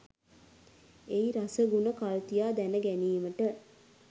එහි රස ගුණ කල්තියා දැනගැනීමට